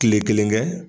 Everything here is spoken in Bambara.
Kile kelen kɛ